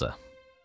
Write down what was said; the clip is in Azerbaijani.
Tam budursa.